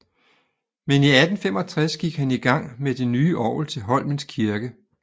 Men i 1865 gik han i gang med det nye orgel til Holmens Kirke